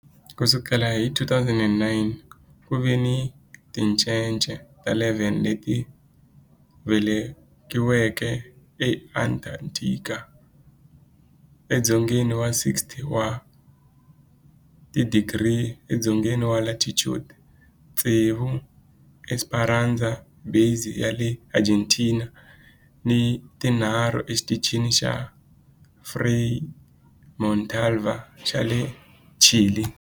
Ku sukela hi 2009, ku ve ni tincece ta 11 leti velekiweke eAntarctica, edzongeni wa 60 wa tidigri edzongeni wa latitude, tsevu eEsperanza Base ya le Argentina ni tinharhu eXitichini xa Frei Montalva xa le Chile.